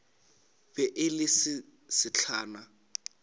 be e le se sesehla